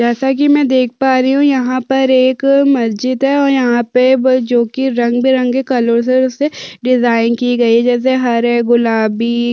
जैसा की मै देख पा रही हु यहाँ पर एक मस्जिद है और यहाँ पे ब जो कि रंग-बिरंगी कलरो से डिज़ाइन की गई है जैसे हरे गुलाबी--